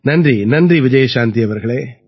நன்றி நன்றி விஜயசாந்தி அவர்களே